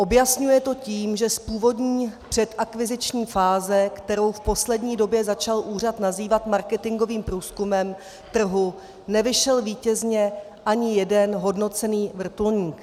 Objasňuje to tím, že z původní předakviziční fáze, kterou v poslední době začal úřad nazývat marketingovým průzkumem trhu, nevyšel vítězně ani jeden hodnocený vrtulník."